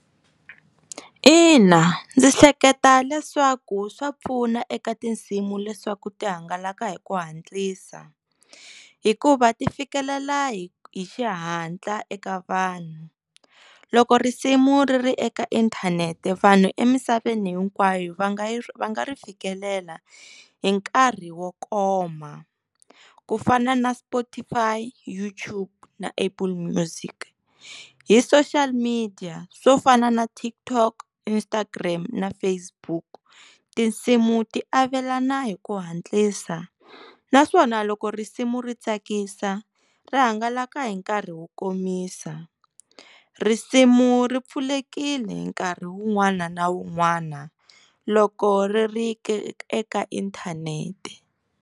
Ina, ndzi hleketa leswaku swa pfuna eka tinsimu leswaku ti hangalaka hi ku hantlisa hikuva ti fikelela hi hi xihatla eka vanhu loko risimu ri ri eka inthanete vanhu emisaveni hinkwayo va nga yi va nga ri fikelela hi nkarhi wo koma ku fana na Spotify, YouTube na Apple music hi social media swo fana na TikTok Instagram na Facebook tinsimu ti avelana hi ku hantlisa naswona loko risimu ri tsakisa ra hangalaka hi nkarhi wo komisa. Risimu ri pfulekile nkarhi wun'wana na wun'wana loko ri ri ke eka inthanete.